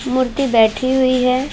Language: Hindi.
मूर्ति बैठी हुई है।